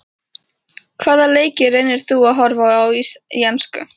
Hvaða leiki reynir þú að horfa á í enska?